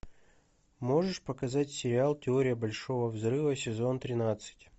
можешь показать сериал теория большого взрыва сезон тринадцать